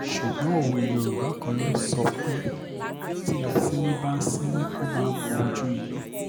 ṣùgbọ́n òwe yorùbá kan ló sọ pé tí asínwín bá ń sinwin ó máa ń mojú iná